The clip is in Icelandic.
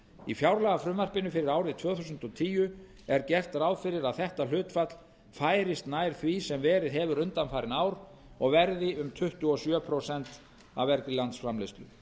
í fjárlagafrumvarpinu fyrir árið tvö þúsund og tíu er gert ráð fyrir að þetta hlutfall færist nær því sem verið hefur undanfarin ár og verði um tuttugu og sjö prósent af vergri landsframleiðslu